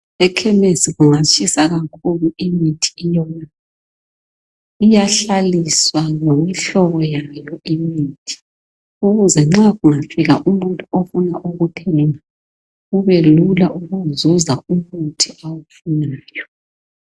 Ekhemisi kungatshisa kakhulu imithi iyona. Iyahlaliswa ngemihlobo yayo imithi ukuze nxa kungafika umuntu ofuna ukuthenga kubelula ukuzuza umuthi awufunayo.